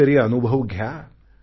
कधी तरी अनुभव घ्या